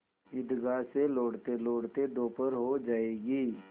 ईदगाह से लौटतेलौटते दोपहर हो जाएगी